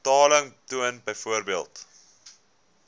betaling toon byvoorbeeld